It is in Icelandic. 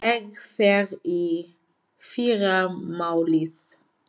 Ég fer í fyrramálið.